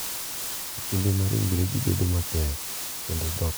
e kinde ma ringregi bedo matek kendo dhokgi timo buoyo.